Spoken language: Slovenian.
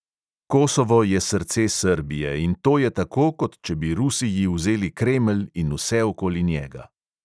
Kosovo je srce srbije in to je tako, kot če bi rusiji vzeli kremelj in vse okoli njega.